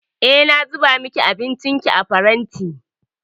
Eh, na zuba miki abincinki a faranti.